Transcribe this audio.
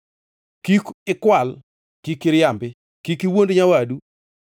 “ ‘Kik ikwal. “ ‘Kik iriambi. “ ‘Kik iwuond nyawadu.